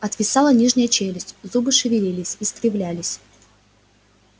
отвисала нижняя челюсть зубы шевелились искривлялись